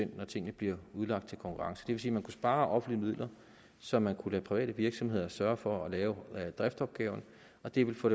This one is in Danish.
når tingene bliver udlagt til konkurrence det vil sige at man kunne spare offentlige midler så man kunne lade private virksomheder sørge for at lave driftopgaverne og det ville få